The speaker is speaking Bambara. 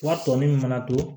Wari tɔ min fana to